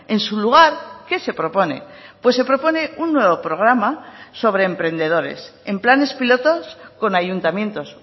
en su lugar qué se propone pues se propone un nuevo programa sobre emprendedores en planes pilotos con ayuntamientos